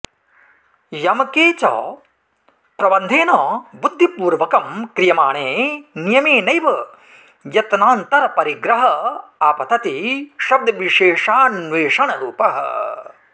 यमके च प्रबन्धेन बुद्धिपूर्वकं क्रियमाणे नियमेनैव यत्नान्तरपरिग्रह आपतति शब्दविशेषान्वेषणरूपः